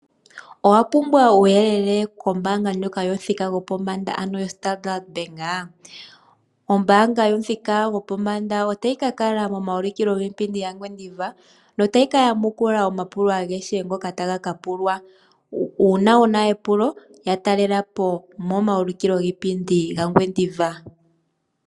Owa pumbwa uuyelele kombaanga ndjoka yomuthika gopombanda ano yoStandard Bank? Ombaanga yomuthika gopombanda otayi ka kala momaulikilo giipindi gaNgwediva notayi kayamukula omapulo agehe ngoka taga ka pulwa. Uuna wuna epulo yatalelapo momaulikilo gaNgwediva.